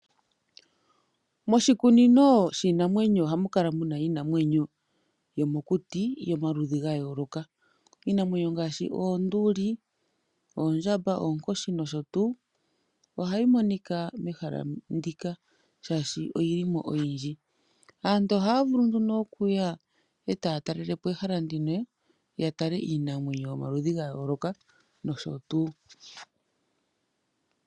Moshikunino shiinamwenyo ohamu kala mu na iinamwenyo yomokuti yomaludhi ga yooloka. Iinamwenyo ngaashi oonduli oondjamba, onkoshi nosho tuu. Ohayi monika mehala ndika shaashi oyi li mo oyindji. Aantu ohaya vulu nduno okuya e ta ya talelepo ehala ndino ya tale iinamwenyo yomaludhi ga yooloka nosho tuu.